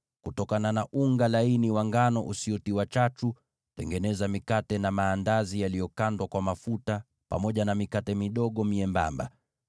Kutokana na unga laini wa ngano usiotiwa chachu, tengeneza mikate na maandazi yaliyokandwa kwa mafuta, pamoja na mikate midogo myembamba.